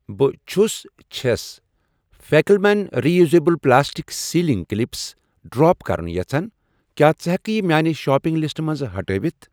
بہٕ چھس چھَس فیکل مین reusable plastic sealing clips drop کرُن یژھان، کیٛاہ ژٕ ہٮ۪کہٕ یہِ میانہِ شاپنگ لسٹہٕ منٛز ہٹٲوِتھ؟